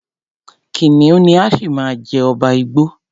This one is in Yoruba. Kìnìún ni á ṣì máa jẹ́ ọba igbó.